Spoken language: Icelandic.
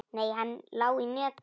Nei, hann lá í netinu.